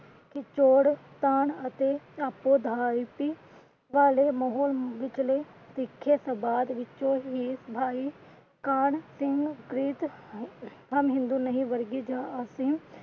ਲਿਖੇ ਸੰਵਾਦ ਵਿੱਚੋ ਹੀ ਭਾਈ ਕਾਹਨ ਸਿੰਘ ਪ੍ਰੀਤ, ਹਮ ਹਿੰਦੂ ਨਹੀਂ ਵਰਗੇ ਜਾਂ ਅਸੀਂ।